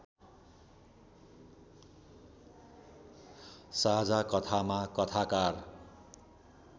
साझा कथामा कथाकार